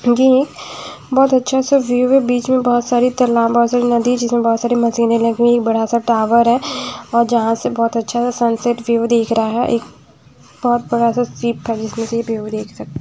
ये बहुत अच्छा सा व्यू है बीच में बहुत सारी तालाब बहुत सारी नदी जिसमें बहुत सारी मशीने लगी हुई एक बड़ा सा टावर है और जहां से बहुत अच्छा सा सनसेट व्यू दिख रहा है एक बहुत बड़ा शिप है जिसमें से ये व्यू देख सक --